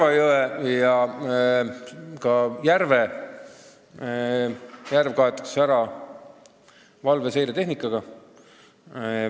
Narva jõgi ja ka järv kaetakse ära valveseiretehnikaga.